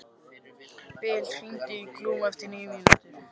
Bil, hringdu í Glúm eftir níu mínútur.